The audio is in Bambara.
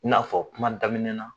I n'a fɔ kuma daminɛ na.